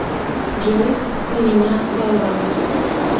джой у меня баланс